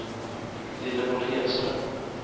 Lillemor Hedström